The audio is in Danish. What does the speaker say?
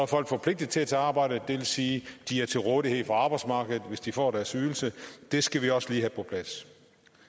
folk forpligtet til at samarbejde det vil sige at de er til rådighed for arbejdsmarkedet hvis de får deres ydelse det skal vi også lige have på plads